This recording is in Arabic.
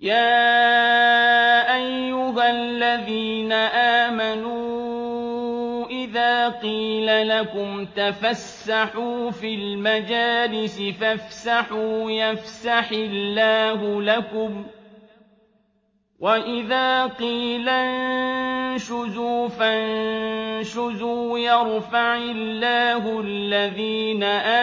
يَا أَيُّهَا الَّذِينَ آمَنُوا إِذَا قِيلَ لَكُمْ تَفَسَّحُوا فِي الْمَجَالِسِ فَافْسَحُوا يَفْسَحِ اللَّهُ لَكُمْ ۖ وَإِذَا قِيلَ انشُزُوا فَانشُزُوا يَرْفَعِ اللَّهُ الَّذِينَ